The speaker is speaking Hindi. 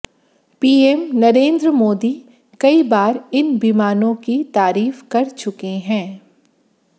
पीएम नरेंद्र मोदी कई बार इन विमानों की तारीफ कर चुके हैं